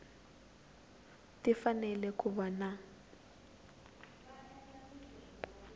ti fanele ku va na